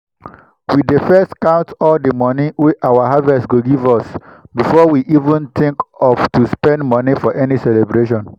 we dey first count all the money wey our harvest go give us before we even think of to spend money for any celebration.